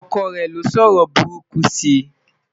ọkọ rè ní o sọ ọrọ buruku si